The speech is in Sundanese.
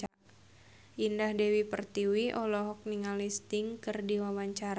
Indah Dewi Pertiwi olohok ningali Sting keur diwawancara